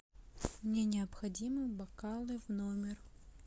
мне необходимы бокалы в номер